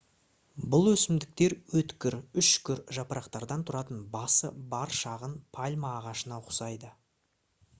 бұл өсімдіктер өткір үшкір жапырақтардан тұратын басы бар шағын пальма ағашына ұқсайды